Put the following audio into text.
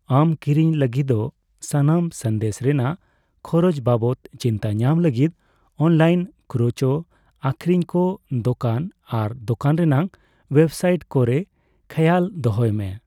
ᱟᱢ ᱠᱤᱨᱤᱧ ᱞᱟᱹᱜᱤᱫᱚᱜ ᱥᱟᱱᱟᱢ ᱥᱟᱸᱫᱮᱥ ᱨᱮᱱᱟᱜ ᱠᱷᱚᱨᱚᱪ ᱵᱟᱵᱚᱛ ᱪᱤᱱᱛᱟᱹ ᱧᱟᱢ ᱞᱟᱹᱜᱤᱫ ᱚᱱᱞᱟᱭᱤᱱ ᱠᱷᱩᱪᱨᱳ ᱟᱠᱷᱨᱤᱧ ᱠᱚ, ᱫᱳᱠᱟᱱ ᱟᱨ ᱫᱳᱠᱟᱱ ᱨᱮᱱᱟᱜ ᱳᱭᱮᱵᱥᱟᱭᱤᱴ ᱠᱚᱨᱮ ᱠᱷᱮᱭᱟᱞ ᱫᱚᱦᱚᱭ ᱢᱮ ᱾